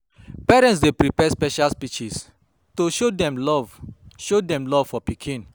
Parents dey prepare special speeches to show dem love show dem love for pikin.